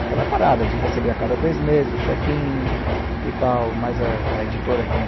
Aquela parada de receber a cada três meses o chequinho e tal, mas a a editora quem